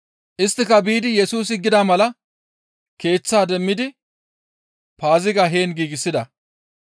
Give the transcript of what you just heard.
Isttika biidi Yesusi gida mala keeththaa demmidi Paaziga heen giigsida.